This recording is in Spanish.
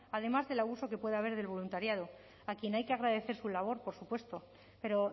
además del abuso que puede haber del voluntariado a quien hay que agradecer su labor por supuesto pero